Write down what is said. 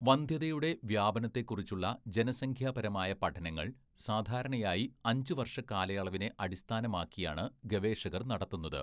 വന്ധ്യതയുടെ വ്യാപനത്തെക്കുറിച്ചുള്ള ജനസംഖ്യാപരമായ പഠനങ്ങള്‍ സാധാരണയായി അഞ്ച് വർഷ കാലയളവിനെ അടിസ്ഥാനമാക്കിയാണ് ഗവേഷകർ നടത്തുന്നത്.